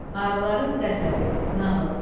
Arıların qəzəbi, nağıl.